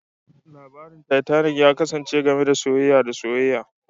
Labarin Titanic ya kasance game da soyayya da soyayya